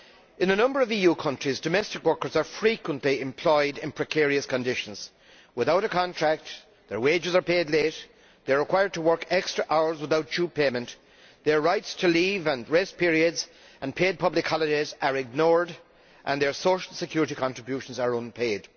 In a number of EU countries, domestic workers are frequently employed in precarious conditions. They are without a contract, their wages are paid late, they are required to work extra hours without due payment, their rights to leave and rest periods and paid public holidays are ignored and their social security contributions are unpaid.